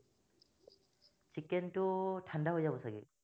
ছিকেনটো ঠাণ্ডা হৈ যাব চাগে